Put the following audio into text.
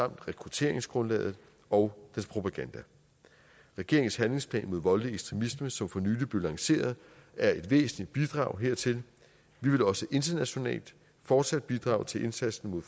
rekrutteringsgrundlag og dens propaganda regeringens handlingsplan mod voldelig ekstremisme som for nylig blev lanceret er et væsentligt bidrag hertil vi vil også internationalt fortsat bidrage til indsatsen mod